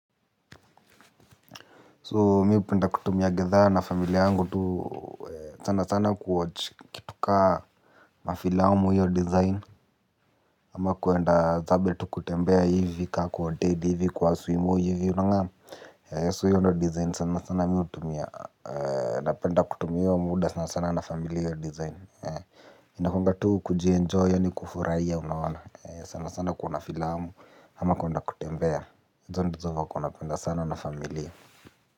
So mimi hupenda kutumia gidhaa na familia yangu tu sana sana kuwatch kitu kaa mafilamu hiyo dizaini. Ama kwenda za betu kutembea hivi kaa kwa hoteli hivi kwa swimu hivi unang'aa so iyo ndio dizaini sana sana mimi hutumia. Napenda kutumia hiyo muda sana sana na familia dizaini napenda tu kujiinjoi yani kufurahia unaona sana sana kuona filamu ama kwenda kutembea hizo ndizo nakuwa napenda sana na familia.